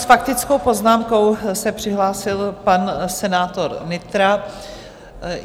S faktickou poznámkou se přihlásil pan senátor Nytra.